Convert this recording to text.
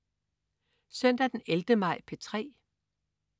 Søndag den 11. maj - P3: